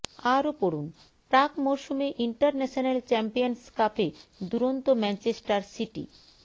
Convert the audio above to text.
আরও পড়ুন প্রাক মরশুমে ইন্টারন্যাশনাল চ্যাম্পিয়ন্স কাপে দুরন্ত ম্যাঞ্চেষ্টার সিটি